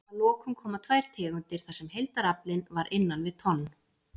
Að lokum koma tvær tegundir þar sem heildaraflinn var innan við tonn.